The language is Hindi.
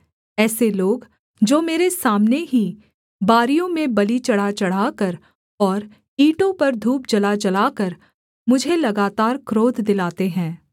ऐसे लोग जो मेरे सामने ही बारियों में बलि चढ़ाचढ़ाकर और ईंटों पर धूप जलाजलाकर मुझे लगातार क्रोध दिलाते हैं